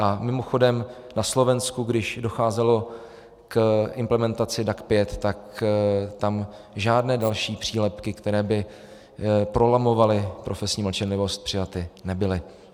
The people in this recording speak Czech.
A mimochodem, na Slovensku, když docházelo k implementaci DAC 5, tak tam žádné další přílepky, které by prolamovaly profesní mlčenlivost, přijaty nebyly.